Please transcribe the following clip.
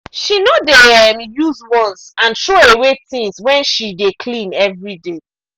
she no dey um use once-and-throw-away things when she dey clean every day.